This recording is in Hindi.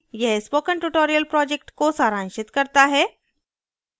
यह spoken tutorial project को सारांशित करता है